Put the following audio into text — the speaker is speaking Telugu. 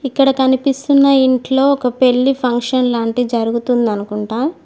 ఇక్కడ కనిపిస్తున్న ఇంట్లో ఒక పెళ్లి ఫంక్షన్ లాంటిది జరుగుతుంది అనుకుంటా.